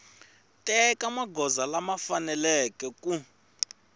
teka magoza lama faneleke ku